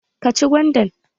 Ka ci gwandan?